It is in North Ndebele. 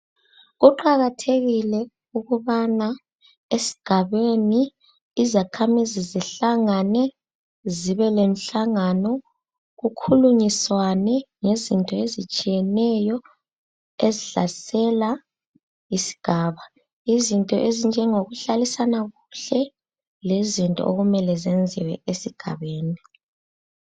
Kuqakathekile ukubana esigabeni izakhamizi zihlangane zibelenhlangano kukhulunyiswane ngezinto ezitshiyeneyo ezihlasela isigaba, ngezinto ezinjengokuhlalisana kuhle lezinto okumele zenziwe esigabeni